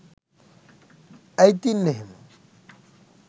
ඇයි තින් එහෙම